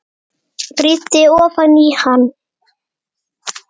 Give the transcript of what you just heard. Rýndi ofan í hann.